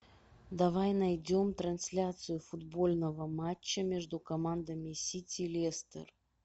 давай найдем трансляцию футбольного матча между командами сити лестер